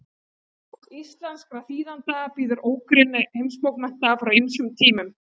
íslenskra þýðenda bíður ógrynni heimsbókmennta frá ýmsum tímum